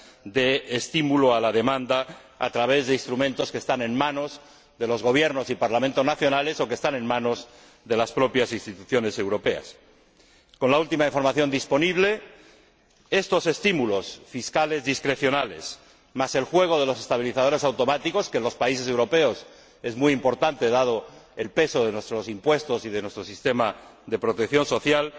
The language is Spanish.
de estímulo a la demanda a través de instrumentos que están en manos de los Gobiernos y Parlamentos nacionales, o que están en manos de las propias Instituciones europeas. Con la última información disponible, estos estímulos fiscales discrecionales, más el juego de los estabilizadores automáticos, que en los países europeos es muy importante dado el peso de nuestros impuestos y de nuestro sistema de protección social,